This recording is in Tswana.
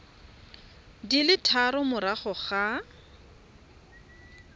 di le tharo morago ga